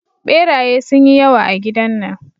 Beraye sun yi yawa a gidan nan.